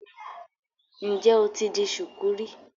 Ǹ jẹ́ o ti di ṣùkú rí?